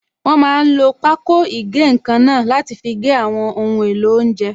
Wọ́n máa n lo pákó ìgé-nǹkan náà láti fi gé àwọn ohun èlò oúnjẹ